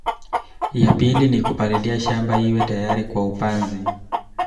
Ya pili ni kupalilia shamba iwe tayari kwa upanzi